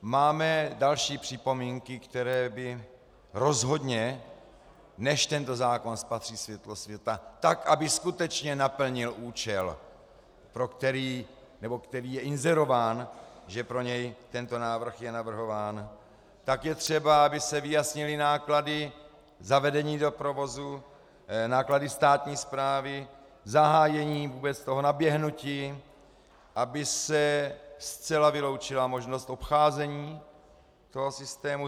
Máme další připomínky, které by rozhodně, než tento zákon spatří světlo světa, tak aby skutečně naplnil účel, který je inzerován, že pro něj tento návrh je navrhován, tak je třeba, aby se vyjasnily náklady zavedení do provozu, náklady státní správy, zahájení vůbec toho naběhnutí, aby se zcela vyloučila možnost obcházení toho systému.